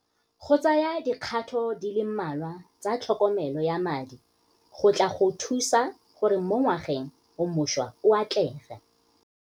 Go tsaya dikgato di le mmalwa tsa tlhokomelo ya madi go tla go thusa gore mo ngwageng o mošwa o atlege.